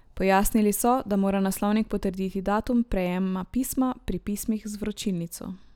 Pojasnili so, da mora naslovnik potrditi datum prejema pisma pri pismih z vročilnico.